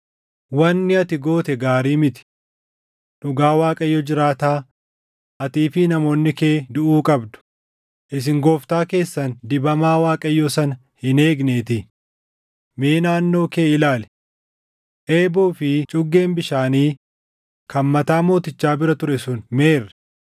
Wanni ati goote gaarii miti. Dhugaa Waaqayyo jiraataa, atii fi namoonni kee duʼuu qabdu; isin gooftaa keessan dibamaa Waaqayyoo sana hin eegneetii. Mee naannoo kee ilaali. Eeboo fi cuggeen bishaanii kan mataa mootichaa bira ture sun meerre?”